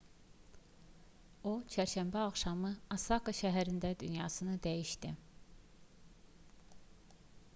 o çərşənbə axşamı osaka şəhərində dünyasını dəyişdi